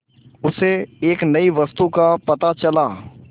उसे एक नई वस्तु का पता चला